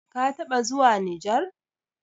kataba zuwa nijar?